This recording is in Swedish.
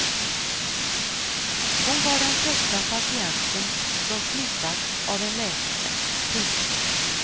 Hon var den första patienten som smittats av en läkare. punkt